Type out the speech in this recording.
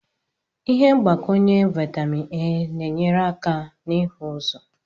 Ihe mgbakwunye vitamin A na-enyere aka n'ihu ụzọ